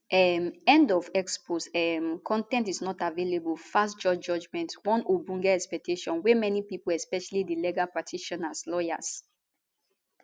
um end of x post um con ten t is not available fast court judgement one ogbonge expectation wey many pipo especially di legal practitioners lawyers